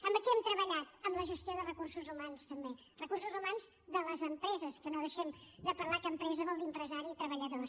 en què hem treballat en la gestió de recursos humans també recursos humans de les empreses que no deixem de parlar que empresa vol dir empresari i treballadors